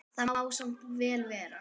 Það má samt vel vera.